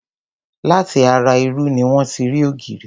Láti ara irú ni wón ti rí ògìrì.